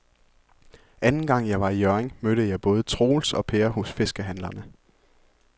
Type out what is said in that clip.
Anden gang jeg var i Hjørring, mødte jeg både Troels og Per hos fiskehandlerne.